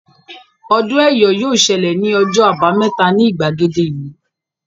Ọdún Ẹ́yọ̀ yóò ṣẹlẹ̀ ní ọjọ́ àbámẹ́ta ni ìgbàgede ìlú